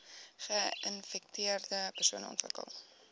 geinfekteerde persone ontwikkel